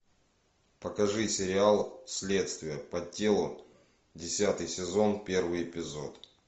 покажи сериал следствие по телу десятый сезон первый эпизод